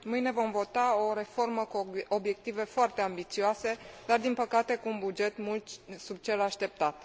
Mâine vom vota o reformă cu obiective foarte ambițioase, dar, din păcate, cu un buget mult sub cel așteptat.